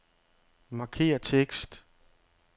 Markér tekst.